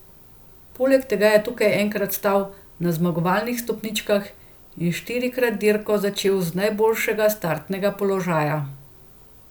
Poleg tega je tukaj enkrat stal na zmagovalnih stopničkah in štirikrat dirko začel z najboljšega startnega položaja.